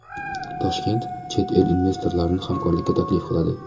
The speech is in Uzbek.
Toshkent chet el investorlarini hamkorlikka taklif qiladi.